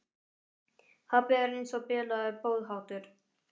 Pabbi er eins og bilaður boðháttur.